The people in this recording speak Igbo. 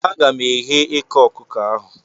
Aga m eghe eke okuko ahu